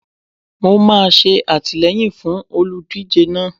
Mo máa ṣe àtìleyìn fún olùdíje náà.